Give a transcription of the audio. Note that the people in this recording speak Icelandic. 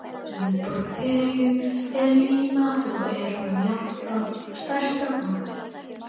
Höfuðborg Perú er Líma og er hún jafnframt stærsta borgin.